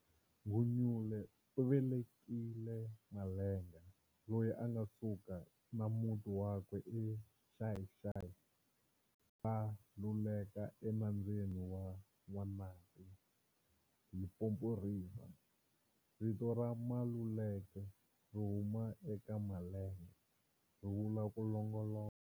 Gunyule u velekile Malenga, loyi a nga suka na muti wakwe e Xayi-Xayi va lulekela e nambyeni wa N'wanati, Limpopo River,-vito ra"Maluleke" ri huma eka Malenga, ri vula ku longoloka.